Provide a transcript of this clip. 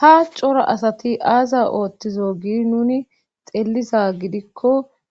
ha cora asati aaza ooththizo gi nuni xeelliza gidikko